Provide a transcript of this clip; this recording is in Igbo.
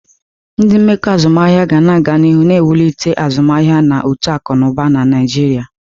Ndị mmekọ azụmahịa ga-aga n'ihu na-ewulite azụmaahịa na uto akụ na ụba na Nigeria.